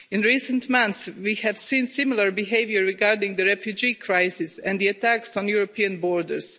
In recent months, we have seen similar behaviour regarding the refugee crisis and the attacks on European borders.